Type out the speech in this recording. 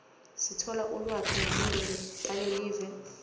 sithola ulwati ngetinto talelive